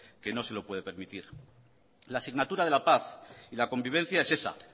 que no se lo puede permitir la asignatura de la paz y la convivencia es esa